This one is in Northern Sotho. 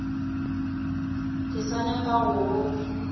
ke sa nyaka go go